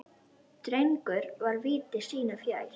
Drengur var viti sínu fjær.